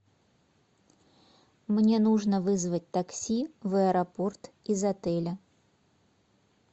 мне нужно вызвать такси в аэропорт из отеля